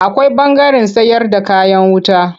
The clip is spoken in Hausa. Akwai ɓangaren sayarda kayan wuta.